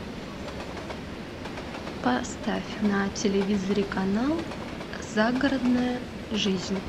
поставь на телевизоре канал загородная жизнь